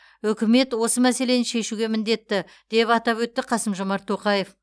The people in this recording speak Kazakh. үкімет осы мәселені шешуге міндетті деп атап өтті қасым жомарт тоқаев